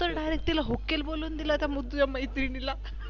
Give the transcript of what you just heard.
तू तर Direct हुकेल बोलून दिल त्या तुझ्या मैत्रिणीला